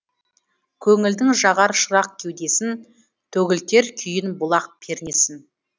көңілдің жағар шырақ кеудесін төгілтер күйін бұлақ пернесін